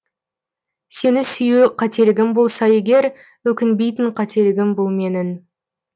сені сүю қателігім болса егер өкінбейтін қателігім бұл менің